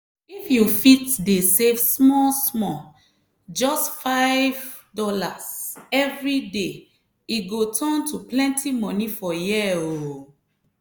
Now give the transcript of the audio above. if you fit dey save small-small just $5 every day e go turn to plenty money for year oh!